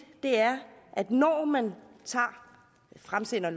er at når man fremsætter